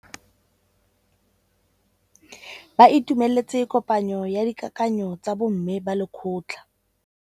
Ba itumeletse kôpanyo ya dikakanyô tsa bo mme ba lekgotla.